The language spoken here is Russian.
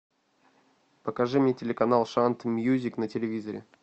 покажи мне телеканал шант мьюзик на телевизоре